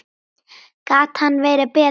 Gat hann verið betri?